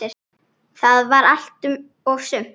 Það var allt og sumt!